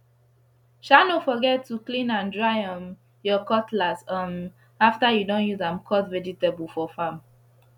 sha no forget to clean and dry um ur cutlass um after u don use am cut vegetable for farm